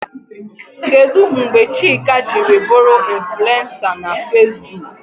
Kedụ mgbe Chika jiri bụrụ infulensa na Feesbuk?